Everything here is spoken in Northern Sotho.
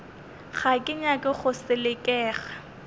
ga ke nyake go selekega